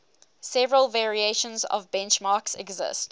several variations of benchmarks exist